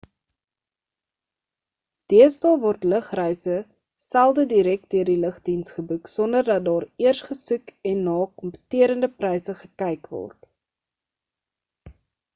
deesdae word lugreise selde direk deur die lugdiens geboek sonder dat daar eers gesoek en na kompeterende pryse gekyk word